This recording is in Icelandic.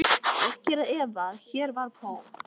Ekki er að efa, að hér var Paul